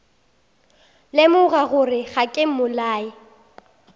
lemoga gore ga ke mmolai